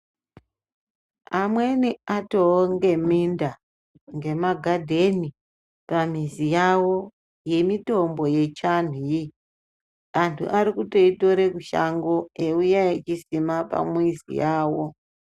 Amweni atoo ngeminda ngema ghadheni pamizi yawo yemitombo yechivantu wee, antu arikutoi tore kushango eiuya echiisima pamizi yawo.